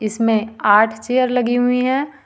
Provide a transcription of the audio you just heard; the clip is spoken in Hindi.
इसमें आठ चेयर लगी हुई है।